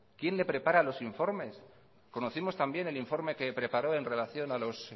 quién le prepara los informes conocimos también el informe que preparó en relación a los